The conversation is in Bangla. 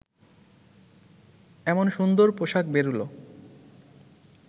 এমন সুন্দর পোশাক বেরুল